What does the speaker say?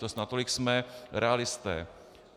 To snad natolik jsme realisté.